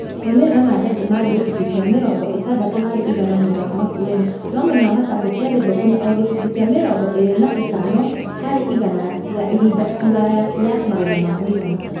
Maũmĩrĩra ma ndengũ marĩ ma gĩcunjĩ kĩa mĩrongo ĩtandatũ harĩ igana mwena wa Makueni no mwena wa Machakos yarĩ thũku na o gĩcunjĩ kĩa mĩrongo ĩrĩ na ĩtano harĩ igana ya ihinda iraya ya magetha ma mũigana.